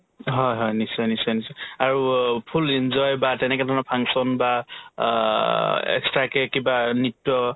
হয় হয় নিশ্চয় নিশ্চয় নিশ্চয় আৰু ও full enjoy বা তেনেকেধৰণৰ function বা অ extra কে কিবা নৃত্য